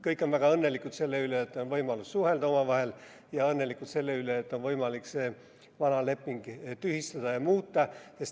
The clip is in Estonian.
Kõik on väga õnnelikud selle üle, et on võimalus suhelda omavahel, ja selle üle, et on võimalik see vana leping tühistada ja olukorda muuta.